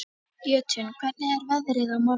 Jötunn, hvernig er veðrið á morgun?